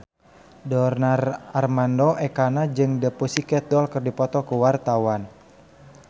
Donar Armando Ekana jeung The Pussycat Dolls keur dipoto ku wartawan